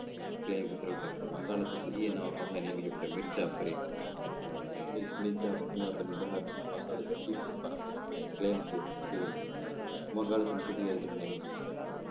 வங்காளத்துக்காக புதிய நவபாக நியமிக்கப்பட்ட மிரு ஜாஃபரின் வங்காள பஜ்ஜி பணம் குடுப்பது வங்காளத்தின்